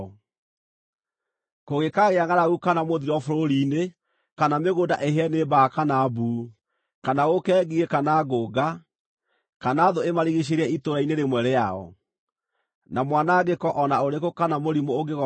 “Kũngĩkaagĩa ngʼaragu kana mũthiro bũrũri-inĩ, kana mĩgũnda ĩhĩe nĩ mbaa kana mbuu, kana gũũke ngigĩ kana ngũnga, kana thũ imarigiicĩrie itũũra-inĩ rĩmwe rĩao, na mwanangĩko o na ũrĩkũ kana mũrimũ ũngĩgooka-rĩ,